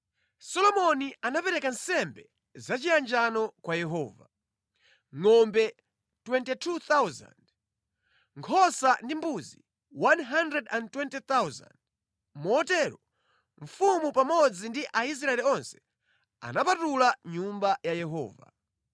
Solomoni anapereka nsembe zachiyanjano kwa Yehova: ngʼombe 22,000, nkhosa ndi mbuzi 120,000. Motero mfumu pamodzi ndi Aisraeli onse anapatula Nyumba ya Yehova.